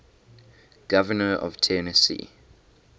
governors of tennessee